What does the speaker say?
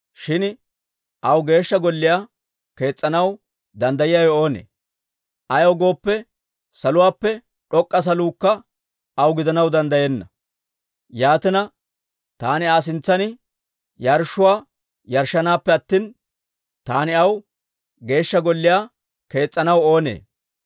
Shin aw Geeshsha Golliyaa kees's'anaw danddayiyaawe oonee? Ayaw gooppe, saluwaappe d'ok'k'a saluukka aw gidanaw danddayenna! Yaatina, taani Aa sintsan yarshshuwaa yarshshanaappe attina, taani aw Geeshsha Golliyaa kees's'anaw oonee?